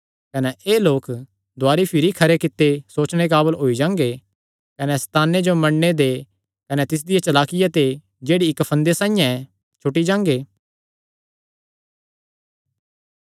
कने एह़ लोक दुवारी भिरी खरे कित्ते सोचणे काबल होई जांगे कने सैताने जो मन्नणे ते कने तिसदिया चलाकिया ते जेह्ड़ी इक्क फंदे साइआं ऐ छुटी जांगे